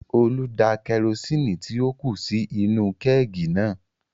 Olú da kerosini tí ó kù sí inú-u kẹ́ẹ̀gì náà